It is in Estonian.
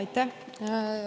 Aitäh!